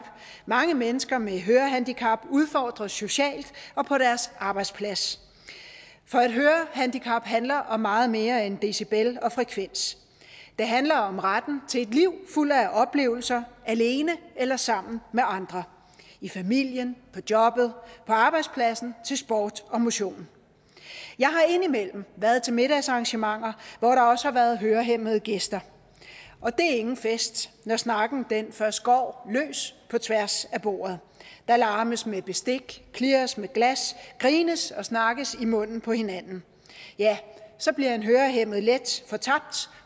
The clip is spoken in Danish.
mange mennesker med hørehandicap udfordres socialt og på deres arbejdsplads for et hørehandicap handler om meget mere end decibel og frekvens det handler om retten til et liv fuldt af oplevelser alene eller sammen med andre i familien på arbejdspladsen og til sport og motion jeg har indimellem været til middagsarrangementer hvor der også har været hørehæmmede gæster og det er ingen fest når snakken først går løs på tværs af bordet der larmes med bestik klirres med glas og grines og snakkes i munden på hinanden så bliver en hørehæmmet let fortabt